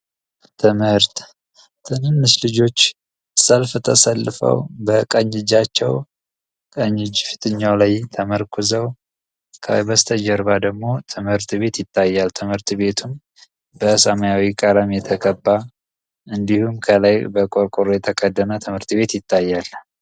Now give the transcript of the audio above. ትምህርት ልጆች ሰልፍ ተሰልፈው በቀኝ እጃቸው ላይ ተመርኩዘው በስተጀርባ ደግሞ ትምህርት ቤት ይታያል። ትምህርት ቤቱ በሰማያዊ ቀለም የተገቀባ እንዲሁም ከላይ የተቀደመ ትምህርት ቤት ይታያል።